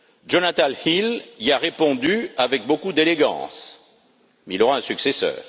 Jonathan Hill y a répondu avec beaucoup d'élégance, mais il aura un successeur.